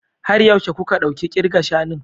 Har yaushe kuka ɗauki kirga shanun?